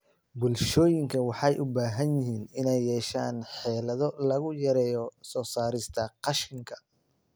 Bulshooyinka waxay u baahan yihiin inay yeeshaan xeelado lagu yareeyo soo saarista qashinka.